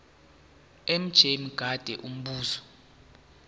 mj mngadi umbuzo